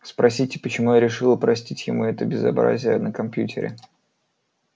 спросите почему я решила простить ему это безобразие на компьютере